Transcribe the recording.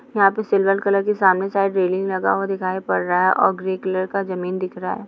यहाँ पर silver colour की सामने साइड रेलिंग लगा हुआ दिखाई पड़ रहा है और ग्रे कलर का जमीन दिख रही है।